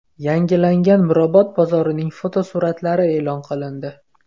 Yangilangan Mirobod bozorining fotosuratlari e’lon qilindi.